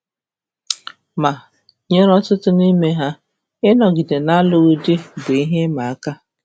Ma, nyere ọtụtụ n’ime ha, ịnọgide n’alụghị di bụ ihe ịma aka.